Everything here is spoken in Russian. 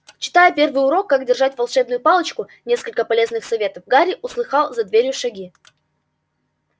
читая первый урок как держать волшебную палочку несколько полезных советов гарри услыхал за дверью шаги